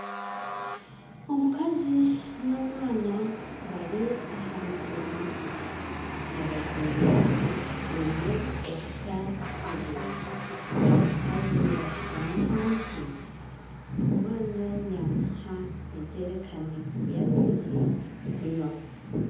Omukazi na omwana bari aha musiri nibahinga baine enfuka ibiri omukazi yashutama hansi omwana yamuha ejerikani ya maizi kunywaho